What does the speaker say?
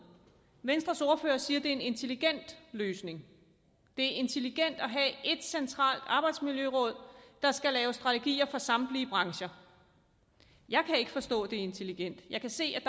venstres ordfører siger at er en intelligent løsning det er intelligent at have ét centralt arbejdsmiljøråd der skal lave strategier for samtlige brancher jeg kan ikke forstå at det er intelligent jeg kan se at